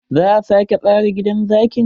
Za a sake tsara gidan zakin.